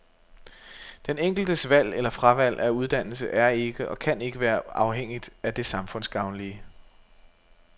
Den enkeltes valg eller fravalg af uddannelse er ikke og kan ikke være afhængigt af det samfundsgavnlige.